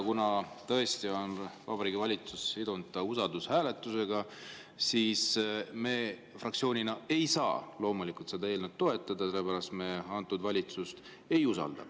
Kuna tõesti on Vabariigi Valitsus sidunud selle usaldushääletusega, siis me fraktsioonina ei saa loomulikult seda eelnõu toetada, sest me antud valitsust ei usalda.